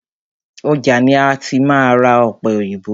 Ọjà ni máa ti ra ọ̀pẹ òyìnbó.